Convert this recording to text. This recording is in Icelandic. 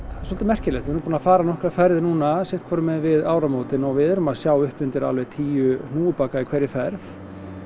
svolítið merkilegt við erum búin að fara nokkrar ferðir núna sitt hvorum megin við áramótin og við erum að sjá upp undir alveg tíu hnúfubaka í hverri ferð